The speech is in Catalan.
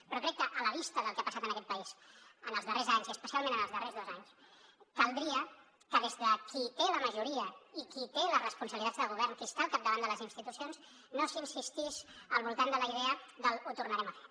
però crec que a la vista del que ha passat en aquest país en els darrers anys i especialment en els darrers dos anys caldria que des de qui té la majoria i qui té les responsabilitats de govern qui està al capdavant de les institucions no s’insistís al voltant de la idea del ho tornarem a fer